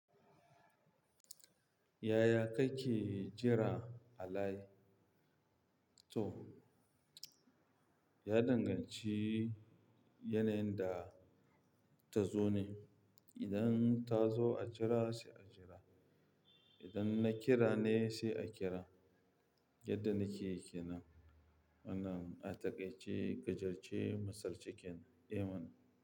Yaya kake jira Halai? To, ya danganci yanayin da ta zo min. Idan ta zo a jira sai a jira. Idan na kira ne sai a kira. Yadda nikeyi kenan. Wannan, a taƙaice, gajarce, misali kenan.